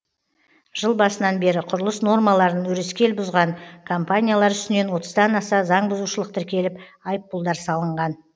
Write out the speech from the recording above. жыл басынан бері құрылыс нормаларын өрескел бұзған компаниялар үстінен отыздан аса заңбұзушылық тіркеліп айыппұлдар салынған